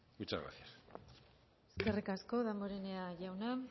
muchas gracias eskerrik asko damborenea jauna